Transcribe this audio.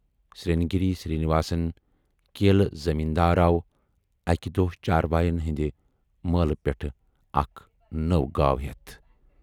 سِرٛنٛگیری Srinivas, کیلہٕ زٔمیٖن دار آو اَکہِ دۄہ چارواین ہٕنٛدِ مٲلہٕ پٮ۪ٹھٕ اَکھ نٔو گاو ہٮ۪تھ۔